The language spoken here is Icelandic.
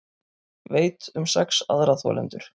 Veit um sex aðra þolendur